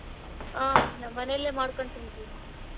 ಹಾ ನಮ್ಮ ಮನೆಯಲ್ಲೇ ಮಾಡಿಕೊಂಡು ತೀನ್ತೀವ್.